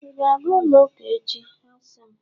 ị ga-aga ụlọ ụka echi, a sị m!